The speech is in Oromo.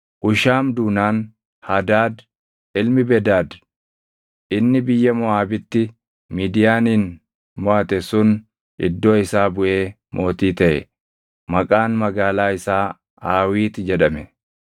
Hushaam duunaan Hadaad ilmi Bedad inni biyya Moʼaabitti Midiyaanin moʼate sun iddoo isaa buʼee mootii taʼe. Maqaan magaalaa isaa Aawiit jedhame.